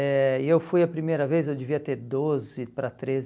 Eh e eu fui a primeira vez, eu devia ter doze para treze